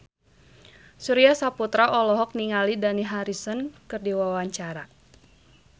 Surya Saputra olohok ningali Dani Harrison keur diwawancara